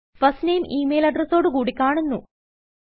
first name email അഡ്രസ്സോടു കുടി കാണുന്നു